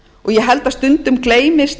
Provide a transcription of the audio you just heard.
ég held að stundum gleymist